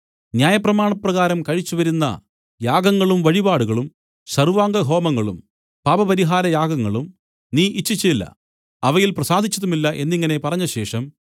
ന്യായപ്രമാണപ്രകാരം കഴിച്ചുവരുന്ന യാഗങ്ങളും വഴിപാടുകളും സർവ്വാംഗ ഹോമങ്ങളും പാപപരിഹാര യാഗങ്ങളും നീ ഇച്ഛിച്ചില്ല അവയിൽ പ്രസാദിച്ചതുമില്ല എന്നിങ്ങനെ പറഞ്ഞശേഷം